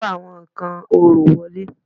Kó àwọn nǹkan orò wọlé